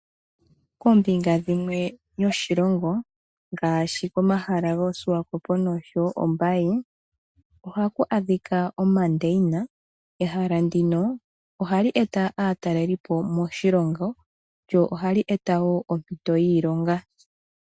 Koombinga dhimwe yoshilongo ngaashi komahala goSwakop noshowo Ombaye ohaku adhika omandeina, ehala ndino ohali e ta aataleli po moshilongo, lyo ohali e ta wo ompito yiilonga.